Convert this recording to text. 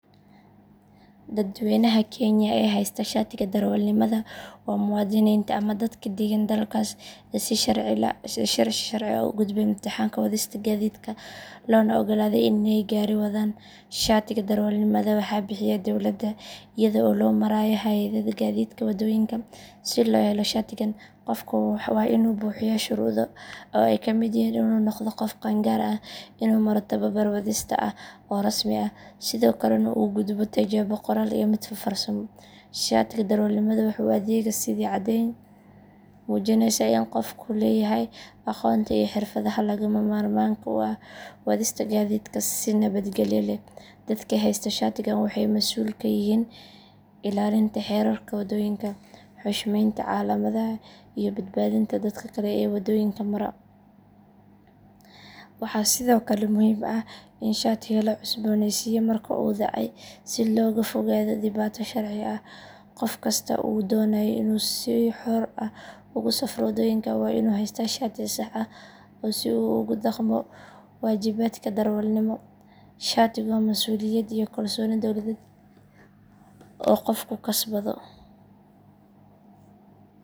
Dadweynaha Kenya ee haysta shaatiga darawalnimada waa muwaadiniinta ama dadka deggan dalkaas ee si sharci ah u gudbay imtixaanka wadista gaadiidka loona oggolaaday inay gaari wadaan. Shaatiga darawalnimada waxaa bixiya dowladda iyada oo loo marayo hay’adda gaadiidka waddooyinka. Si loo helo shaatigan, qofku waa inuu buuxiyaa shuruudo ay ka mid yihiin inuu noqdo qof qaangaar ah, inuu maro tababar wadista ah oo rasmi ah, sidoo kalena uu gudbo tijaabo qoraal iyo mid farsamo. Shaatiga darawalnimada waxa uu u adeegaa sidii caddeyn muujinaysa in qofku leeyahay aqoonta iyo xirfadda lagama maarmaanka u ah wadista gaadiidka si nabadgalyo leh. Dadka haysta shaatigan waxay mas’uul ka yihiin ilaalinta xeerarka waddooyinka, xushmeynta calaamadaha iyo badbaadinta dadka kale ee waddooyinka mara. Waxaa sidoo kale muhiim ah in shaatiga la cusbooneysiiyo marka uu dhacay si looga fogaado dhibaato sharci ah. Qof kasta oo doonaya inuu si xor ah ugu safro waddooyinka waa inuu haystaa shati sax ah si uu ugu dhaqmo waajibaadka darawalnimo. Shaatigu waa masuuliyad iyo kalsooni dowladeed oo qofku kasbado.